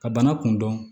Ka bana kun dɔn